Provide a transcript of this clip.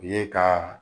U ye ka